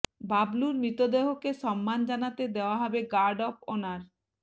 বাবলুর মৃতদেহকে সম্মান জানাতে দেওয়া হবে গার্ড অফ অনার